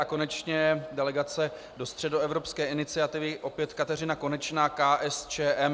A konečně delegace do Středoevropské iniciativy - opět Kateřina Konečná, KSČM.